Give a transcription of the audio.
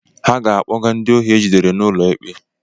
Ha ga-akpoga ndị ohi e jidere n’ụlọikpe